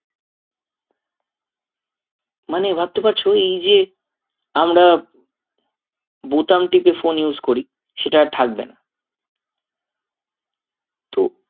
মানে ভাবতে পারছো এই যে আমরা বোতাম টিপে phone use করি সেটা আর থাকবে না তো